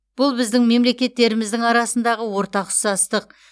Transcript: бұл біздің мемлекеттеріміздің арасындағы ортақ ұқсастық